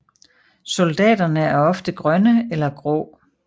Soldatene er ofte grønne eller grå